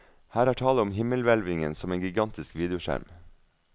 Her er tale om himmelhvelvningen som en gigantisk videoskjerm.